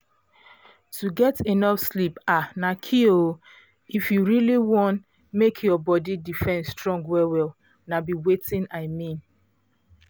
to get enough sleep um na key if you really wan make your body defense strong well-well na be wetin i mean